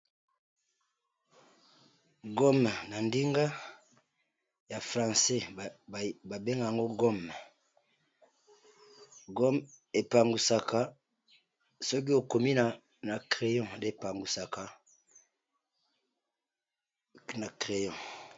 Foto oyo ezali bongo paquet ya gome epangusaka makomi na crayon.